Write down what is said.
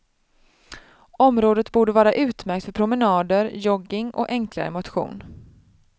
Området borde vara utmärkt för promenader, jogging och enklare motion.